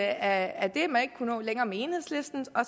at man ikke kunne nå længere med enhedslisten og